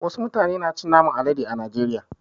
Wasu mutane na cin naman alade a najeriya.